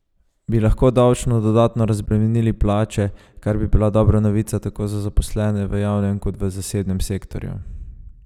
Bi lahko davčno dodatno razbremenili plače, kar bi bila dobra novica tako za zaposlene v javnem kot v zasebnem sektorju?